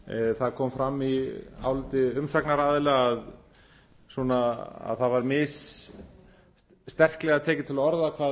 það kom fram í áliti umsagnaraðila að svona að það var missterklega tekið til orða hvað